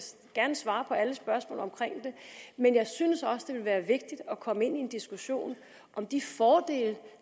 gerne svare på alle spørgsmål omkring det men jeg synes også det ville være vigtigt at komme ind i en diskussion om de fordele